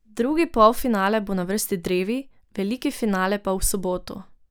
Drugi polfinale bo na vrsti drevi, veliki finale pa v soboto.